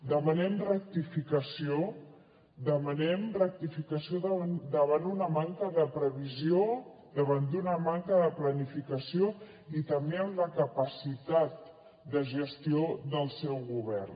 demanem rectificació demanem rectificació davant una manca de previsió davant d’una manca de planificació i també en la capacitat de gestió del seu govern